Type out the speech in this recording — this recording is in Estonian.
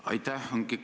Aitäh!